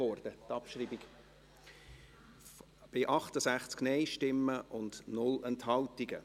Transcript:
Nein, die Abschreibung wurde verlangt.